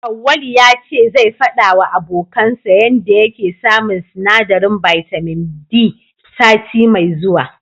Auwalu ya ce zai faɗawa abokansa yanda yake samun sinadarin bitamin D sati mai zuwa.